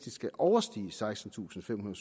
skal overstige sekstentusinde